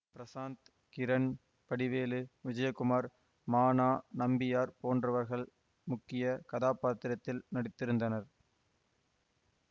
பிரசாந்த் கிரண் வடிவேலு விஜயகுமார் ம நா நம்பியார் போன்றவர்கள் முக்கிய கதாப்பாத்திரத்தில் நடித்திருந்தனர்